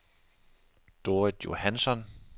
Dorrit Johansson